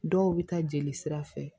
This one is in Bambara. Dɔw bɛ taa jeli sira fɛ